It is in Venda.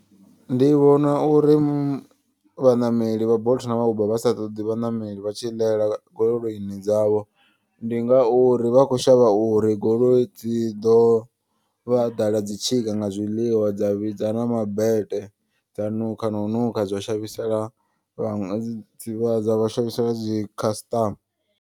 Ndi vhona uri vhaṋameli vha bolt na uber vhasa ṱoḓi vhaṋameli vhatshi ḽela goloini dzavho. Ndi ngauri vha kho shavha uri goloi dzi ḓo vha ḓala dzitshika nga zwiḽiwa dza vhidza na mabete. Dza nukha na u nukha zwa shavhisela vhaṅwe dzi vha dza vha shavhisela dzi khasiṱama.